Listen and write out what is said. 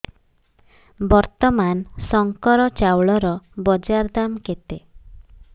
ବର୍ତ୍ତମାନ ଶଙ୍କର ଚାଉଳର ବଜାର ଦାମ୍ କେତେ